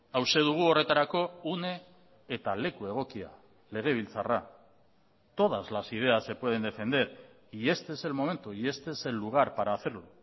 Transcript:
hauxe dugu horretarako une eta leku egokia legebiltzarra todas las ideas se pueden defender y este es el momento y este es el lugar para hacerlo